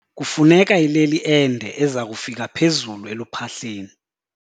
Kufuneka ileli ende eza kufika phezulu eluphahleni.